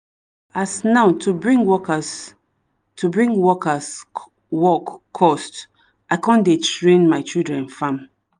as now to bring workers to bring workers work cost i con dey train my children farm